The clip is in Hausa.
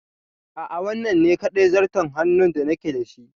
A'a, wannan ne kaɗai zarton hannun da nake da shi.